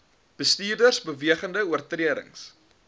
bestuurders bewegende oortredings